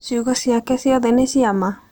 Ciugo ciake ciothe nĩ cia ma?